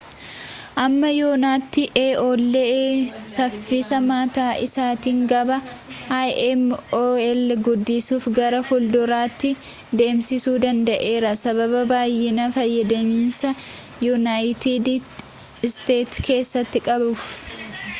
amma yoonaatti aol saffisa mataa isaatiin gabaa im ol guddisuufi gara fuulduraatti deemsisuu danda'eera sababa baay'inaan fayyadamiinsa yuunaayitid isteetis keessatti qabuuf